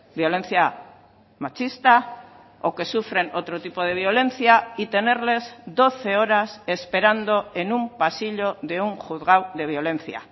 violencia machista o que sufren otro tipo de violencia y tenerles doce horas esperando en un pasillo de un juzgado de violencia